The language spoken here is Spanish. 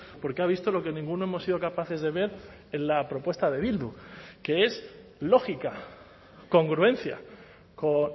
porque ha visto lo que ninguno hemos sido capaces de ver en la propuesta de bildu que es lógica congruencia con